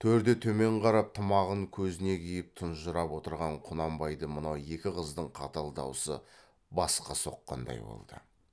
төрде төмен қарап тымағын көзіне киіп тұнжырап отырған құнанбайды мынау екі қыздың қатал даусы басқа соққандай болды